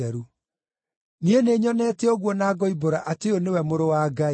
Niĩ nĩnyonete ũguo na ngoimbũra atĩ ũyũ nĩwe Mũrũ wa Ngai.”